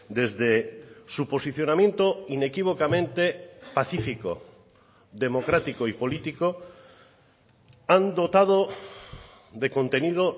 desde su posicionamiento inequívocamente pacífico democrático y político han dotado de contenido